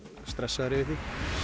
stressaður yfir því